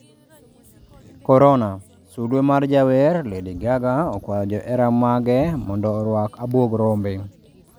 Corona: Sulue mar jawer Lady Gaga akuayo johera mage mondo oruak abuog rombe